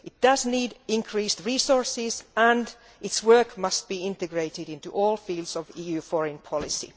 It needs increased resources and its work must be integrated into all fields of EU foreign policy.